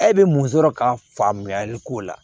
E bɛ mun sɔrɔ ka faamuyali k'o la